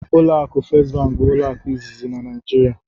Ụlọ akụ first bụ ụlọ akụ izizi na Naijiria.